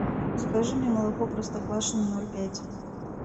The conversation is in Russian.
закажи мне молоко простоквашино ноль пять